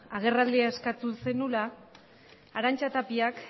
agerraldia eskatu zenuela arantza tapiak